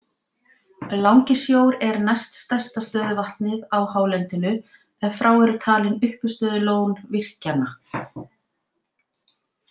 Langisjór er næst stærsta stöðuvatnið á hálendinu ef frá eru talin uppistöðulón virkjanna.